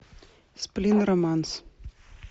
сплин романс